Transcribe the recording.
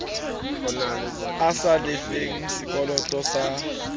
a sa lefeng sekoloto sa